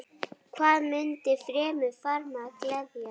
Hvað mundi fremur farmann gleðja?